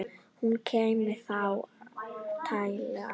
Hún kæmi þá líklega aftur.